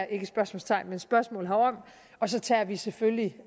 ikke spørgsmålstegn men spørgsmål herom og så tager vi selvfølgelig